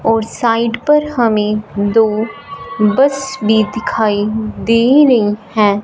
और साइड पर हमें दो बस भी दिखाई दे रही हैं।